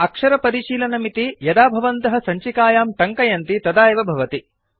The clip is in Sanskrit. अक्षरपरिशीलनमिति यदा भवन्तः सञ्चिकायां टङ्कयन्ति तदा एव भवति